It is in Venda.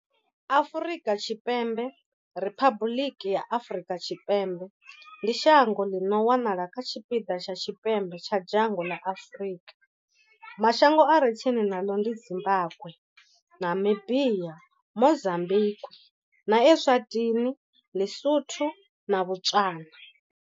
Afrika Tshipembe, Riphabuḽiki ya Afrika Tshipembe, ndi shango ḽi no wanala kha tshipiḓa tsha tshipembe tsha dzhango ḽa Afrika. Mashango a re tsini naḽo ndi Zimbagwe, Namibia, Mozambikwi, Eswatini, Li-Sotho na Botswana.